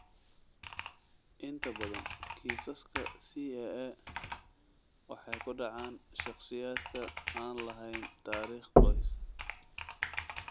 Inta badan kiisaska CAA waxay ku dhacaan shakhsiyaadka aan lahayn taariikh qoys.